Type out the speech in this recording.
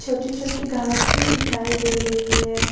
छोटी छोटी घास भी दिखाई दे रही है।